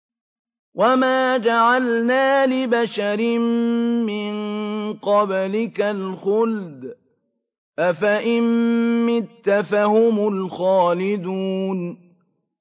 وَمَا جَعَلْنَا لِبَشَرٍ مِّن قَبْلِكَ الْخُلْدَ ۖ أَفَإِن مِّتَّ فَهُمُ الْخَالِدُونَ